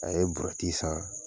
A ye burɛti san